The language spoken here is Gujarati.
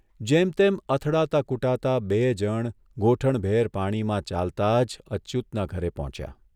જેમતેમ અથડાતા કૂટાતા બેય જણ ગોઠણભેર પાણીમાં ચાલતા જ અચ્યુતના ઘરે પહોંચ્યા.